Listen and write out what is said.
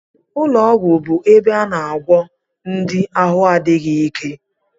Ụlọọgwụ bụ ebe a na-agwọ ndị ahụ adịghị ike